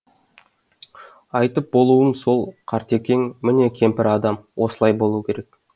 айтып болуым сол қартекең міне кемпір адам осылай болуы керек